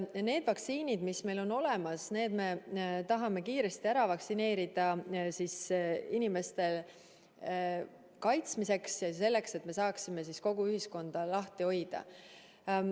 Need vaktsiinid, mis meil on olemas, me tahame kiiresti ära süstida nii inimeste kaitsmiseks kui ka selleks, et me saaksime kogu ühiskonda lahti hoida.